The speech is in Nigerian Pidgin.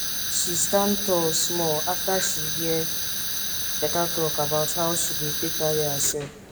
she stand tall small after she hear better talk about how she dey take carry herself